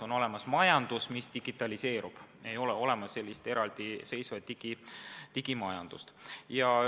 On olemas majandus, mis digitaliseerub, aga ei ole olemas eraldiseisvat digimajandust.